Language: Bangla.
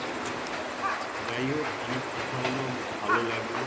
যায় হোক অনেক কথা হল ভালো লাগলো